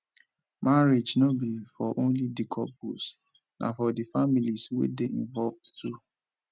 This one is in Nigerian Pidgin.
marriage no be for only di couples na for di families wey de involved too